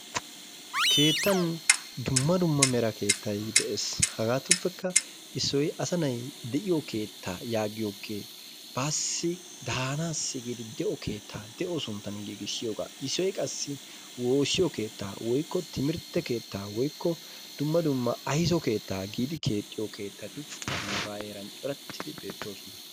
Keettan dumma dumma mera keettay de'ees. Hagaatuppekka issoy asa na'ay de'iyo keettaa yaagiyoge baassi daanaassi giidi de'o keettaa de'o sunttan giigisiyogaa. Issoy qassi woossiyo keettaa woykko timirtte keettaa woykko dumma dumma ayso keettaa giidi keexxiyo keettati nuugaa heeran corattidi beettoosona.